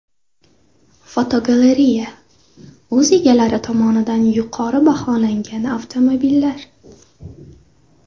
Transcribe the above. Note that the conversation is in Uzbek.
Fotogalereya: O‘z egalari tomonidan yuqori baholangan avtomobillar.